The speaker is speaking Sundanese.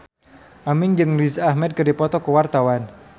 Aming jeung Riz Ahmed keur dipoto ku wartawan